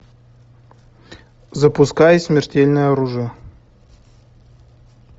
запускай смертельное оружие